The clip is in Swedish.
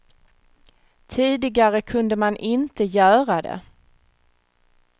Tidigare kunde man inte göra det.